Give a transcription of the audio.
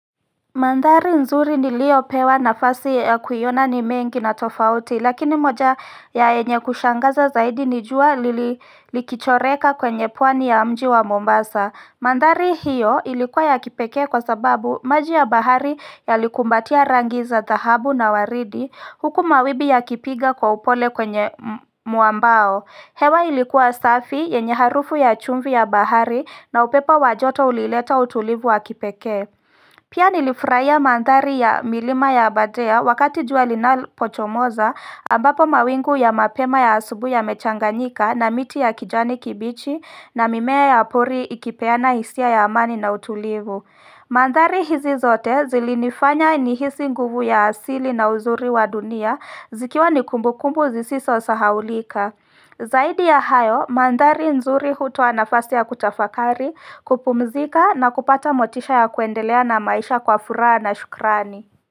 Mandhari nzuri nilio pewa na fasi ya kuiona ni mengi na tofauti lakini moja ya enye kushangaza zaidi nijua lilikichoreka kwenye pwani ya mji wa Mombasa Mandhari hiyo ilikuwa ya kipekee kwa sababu maji ya bahari yalikumbatia rangi za dhahabu na waridi huku mawibi ya kipiga kwa upole kwenye muambao hewa ilikuwa safi yenye harufu ya chumvi ya bahari na upepo wajoto ulileta utulivu wa kipekee Pia nilifraia mandhari ya milima ya abadea wakati juali na pochomoza ambapo mawingu ya mapema ya asubui ya mechanganyika na miti ya kijani kibichi na mimea ya apuri ikipeana hisia ya amani na utulivu. Mandhari hizi zote zilinifanya ni hisi nguvu ya asili na uzuri wa dunia zikiwa ni kumbukumbu zisiso sahaulika. Zaidi ya hayo, mandhari nzuri hutoa nafasi ya kutafakari kupumzika na kupata motisha ya kuendelea na maisha kwa furaha na shukrani.